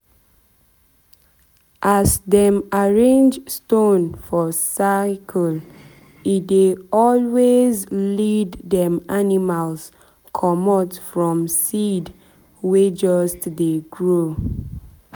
as dem arrange stone for circlee dey always lead dem animal comot from seed seed wey just dey grow.